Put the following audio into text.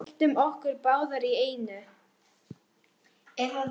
Byltum okkur báðar í einu.